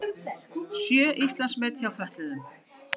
Sjö Íslandsmet hjá fötluðum